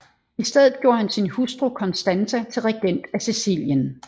I stedet gjorde han sin hustru Constanza til regent af Sicilien